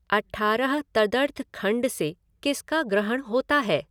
अठारह. तदर्थखण्ड से किसका ग्रहण होता है।